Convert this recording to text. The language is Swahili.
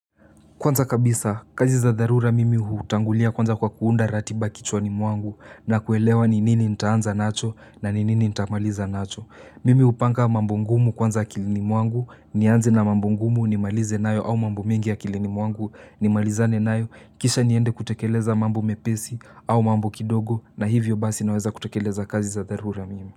Kwanza kabisa, kazi za dharura mimi hutangulia kwanza kwa kuunda ratiba kichwani mwangu na kuelewa ni nini nitaanza nacho na ninini nitaamaliza nacho. Mimi upanga mambo ngumu kwanza kilini mwangu, nianze na mambo ngumu ni malize nayo au mambo mingi akilini mwangu ni malizane nayo kisha niende kutekeleza mambo mepesi au mambo kidogo na hivyo basi naweza kutekeleza kazi za dharura mimi.